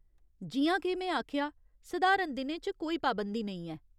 जि'यां के में आखेआ, सधारण दिनें च कोई पाबंदी नेईं ऐ।